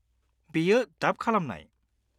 -बेयो डाब खालामनाय।